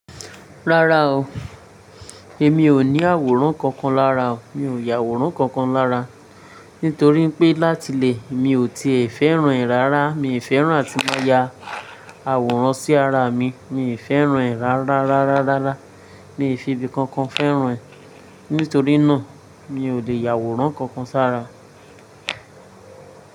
Rárá o, èmi ò ní àwòrán kankan lára o, mi ò yàwòrán kankan lára. Nítorí pé láti ilé mi ò tíì fẹ́ràn rẹ̀ rárá. Mi ò fẹ́ràn tí wọ́n máa ya àwòrán sí ara mi. Mi ò fẹ́ràn rẹ̀ rárá rárá rárá. Mi ò fi ibi kankan fẹ́ràn ẹ̀. Nítorí náà mi ò lè yàwòrán kankan sára.